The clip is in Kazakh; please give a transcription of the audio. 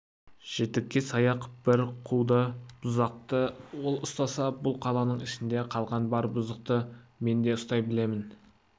жітікке саяқ бір қуды бұзықты ол ұстаса бұл қаланың ішінде қалған бар бұзықты мен де ұстай білемін